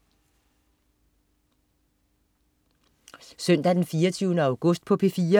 Søndag den 24. august - P4: